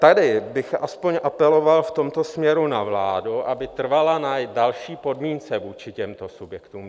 Tady bych aspoň apeloval v tomto směru na vládu, aby trvala na další podmínce vůči těmto subjektům.